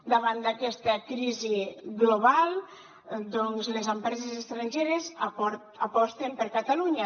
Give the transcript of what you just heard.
davant d’aquesta crisi global doncs les empreses estrangeres aposten per catalunya